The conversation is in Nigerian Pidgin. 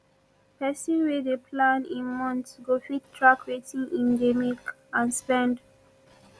pesin wey dey plan im month go fit track wetin im dey make and spend